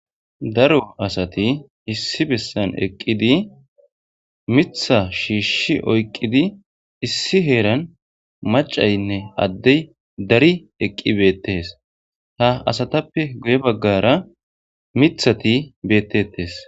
Daro asati issi bessan eqqidi mitha shiishshi oyqqidi issi heeran macaynne addey dari eqqi beettes ha asatappe guye baggara mithati beettettes.